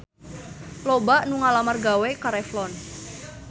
Loba anu ngalamar gawe ka Revlon